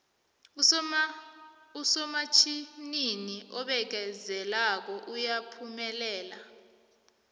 usomatjhinini obekezelako uyaphumelela